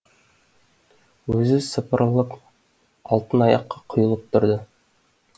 өзі сапырылып алтын аяққа құйылып тұрды